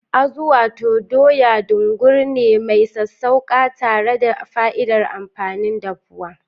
Azu: Wato Doya, dungur ne mai sassauƙa tare da fa'idar amfanin dafuwa.